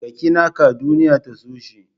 Ka ƙi naka duniya ta so shi.